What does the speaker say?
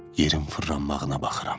yerin fırlanmağına baxıram.